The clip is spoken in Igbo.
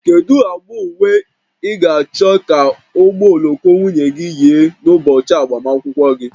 Kedu agba uwe ị ga-achọ ka ụgbọ oloko nwunye gị yi n'ụbọchị agbamakwụkwọ gị?